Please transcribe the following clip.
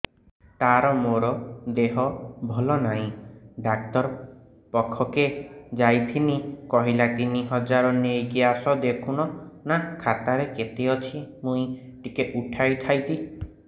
ତାର ମାର ଦେହେ ଭଲ ନାଇଁ ଡାକ୍ତର ପଖକେ ଯାଈଥିନି କହିଲା ତିନ ହଜାର ନେଇକି ଆସ ଦେଖୁନ ନା ଖାତାରେ କେତେ ଅଛି ମୁଇଁ ଟିକେ ଉଠେଇ ଥାଇତି